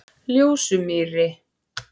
Ljósumýri